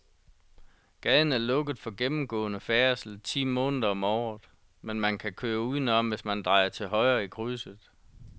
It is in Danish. Gaden er lukket for gennemgående færdsel ti måneder om året, men man kan køre udenom, hvis man drejer til højre i krydset.